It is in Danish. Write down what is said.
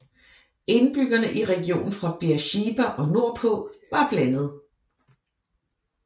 Indbyggerne i regionen fra Beersheba og nordpå var blandet